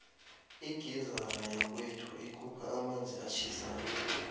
igizara yakwethu ikhupha amanzi atjhisako